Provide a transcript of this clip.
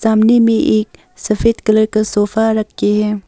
सामने में एक सफेद कलर का सोफा रखे हैं।